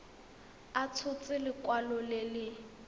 a tshotse lekwalo le le